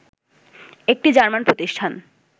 একটি জার্মান প্রতিষ্ঠান